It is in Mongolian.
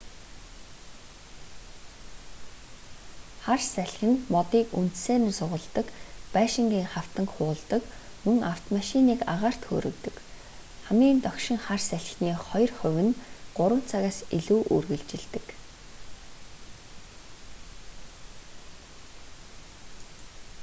хар салхи нь модыг үндсээр нь сугалдаг байшингын хавтанг хуулдаг мөн авмомашиныг агаарт хөөргөдөг хамгийн догшин хар салхины хоёр хувь нь 3 цагаас илүү үргэлжилдэг